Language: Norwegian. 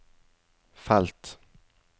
felt